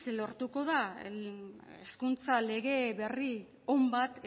lortuko da hezkuntza lege berri on bat